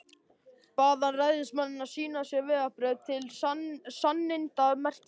Bað hann ræðismanninn að sýna sér vegabréf til sannindamerkis.